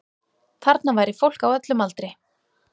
Þarna væri fólk á öllum aldri